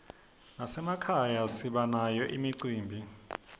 nasemakhaya sibanayo imicimbi